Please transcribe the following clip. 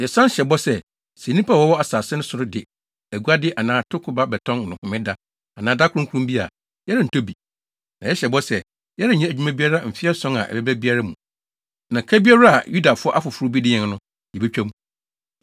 “Yɛsan hyɛ bɔ sɛ, sɛ nnipa a wɔwɔ asase no so de aguade anaa atoko ba bɛtɔn no homeda anaa da kronkron bi a, yɛrentɔ bi. Na yɛhyɛ bɔ sɛ, yɛrenyɛ adwuma biara mfe ason a ɛbɛba biara mu, na ka biara a Yudafo afoforo bi de yɛn no, yebetwa mu.